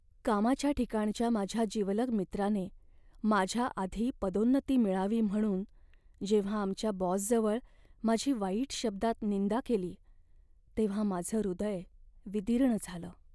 कामाच्या ठिकाणच्या माझ्या जिवलग मित्राने माझ्याआधी पदोन्नती मिळावी म्हणून जेव्हा आमच्या बॉसजवळ माझी वाईट शब्दात निंदा केली तेव्हा माझं हृदय विदीर्ण झालं.